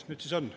Nüüd siis on.